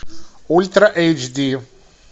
ультра эйч ди